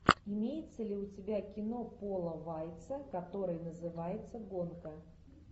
имеется ли у тебя кино пола вайца которое называется гонка